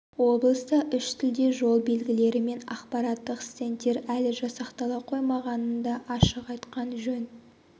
облыста үш тілде жол белгілері мен ақпараттық стендтер әлі жасақтала қоймағанын да ашық айтқан жөн